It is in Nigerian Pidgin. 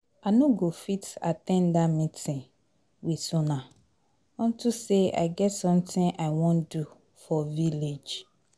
I no go fit at ten d dat meeting with una unto say I get something I wan do for village